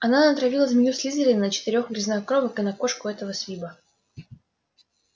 она натравила змею слизерина на четырёх грязнокровок и на кошку этого свиба